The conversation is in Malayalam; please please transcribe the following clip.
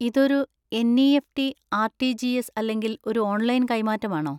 ഇതൊരു എൻ.ഇ.എഫ്.റ്റി., ആർ.റ്റി.ജി.എസ്. അല്ലെങ്കിൽ ഒരു ഓൺലൈൻ കൈമാറ്റമാണോ?